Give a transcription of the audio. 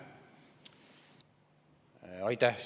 Aitäh!